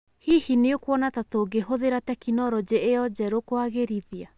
Hihi nĩ ũkuona ta tũngĩhũthĩra tekinolonjĩ ĩyo njerũ kwagĩrĩthĩa